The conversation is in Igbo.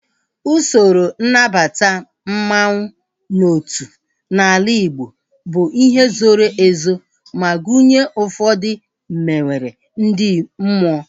Usoro nnabata mmanwu n'otu n'ala Igbo bụ ihe zoro ezo ma gụnye ụfọdụ mmewere ndị mmụọ